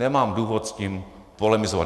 Nemám důvod s tím polemizovat.